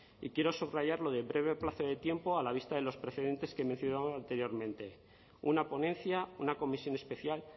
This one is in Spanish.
y quiero subrayar lo de breve plazo de tiempo a la vista de los precedentes que he mencionado anteriormente una ponencia una comisión especial